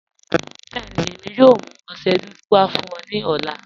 Bẹẹni, èmi yóò mú ọṣẹ dúdú wà fún ọ ni ọlá.